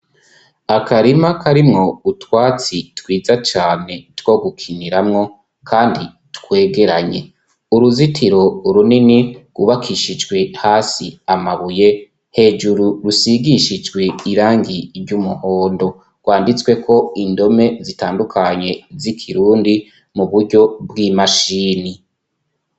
Akarima karimwo utwatsi twiza cane two gukiniramwo kandi twegeranye. Uruzitiro runini gubakishijwe hasi amabuye hejuru rusigishijwe irangi ry'umuhondo rwanditswe ko indome zitandukanye z'ikirundi mu buryo bw'imashini.